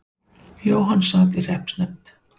Jóhann sat í hreppsnefnd.